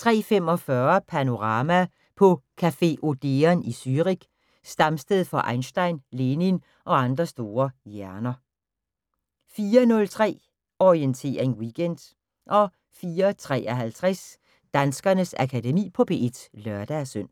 03:45: Panorama: På café Odeon i Zürich, stamsted for Einstein, Lenin og andre store hjerner 04:03: Orientering Weekend 04:53: Danskernes Akademi på P1 (lør-søn)